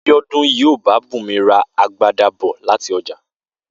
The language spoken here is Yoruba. Bíó̩dún yóò bá Bùnmi ra agbada bò̩ láti o̩jà